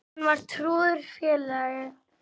Hann var trúr félagi.